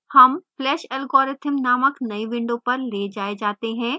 हम flash algorithm named नयी window पर we जाए जाते हैं